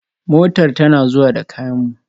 Motar tana zuwa da kayan mu